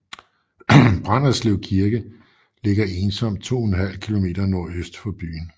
Branderslev Kirke ligger ensomt 2½ km nordøst for byen